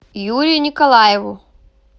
юрию николаеву